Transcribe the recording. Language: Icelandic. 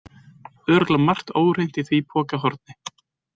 Örugglega margt óhreint í því pokahorni.